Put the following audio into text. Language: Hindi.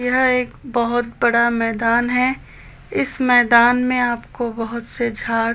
यह एक बोहोत बड़ा मैदान है इस मैदान में आपको बोहोत से झाड़--